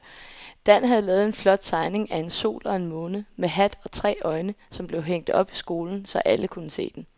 Dan havde lavet en flot tegning af en sol og en måne med hat og tre øjne, som blev hængt op i skolen, så alle kunne se den.